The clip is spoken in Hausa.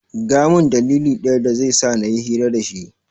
Gaya min dalili ɗaya dazai sa nayi hira dashi